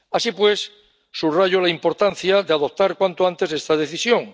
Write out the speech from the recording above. Así pues, subrayo la importancia de adoptar cuanto antes esta Decisión.